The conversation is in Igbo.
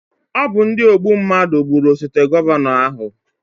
Ọ bụ ndi ogbu mnadụ gbụrụ osote gọvanọ ahụ